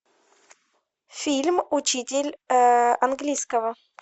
фильм учитель английского